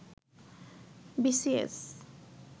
B C S